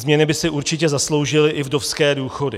Změny by si určitě zasloužily i vdovské důchody.